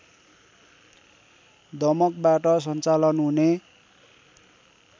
दमकबाट सञ्चालन हुने